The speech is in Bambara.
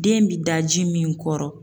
Den bi da ji min kɔrɔ